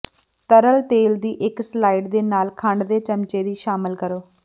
ਤਰਲ ਤੇਲ ਦੀ ਇੱਕ ਸਲਾਇਡ ਦੇ ਨਾਲ ਖੰਡ ਦੇ ਚਮਚੇ ਦੀ ਸ਼ਾਮਿਲ ਕਰੋ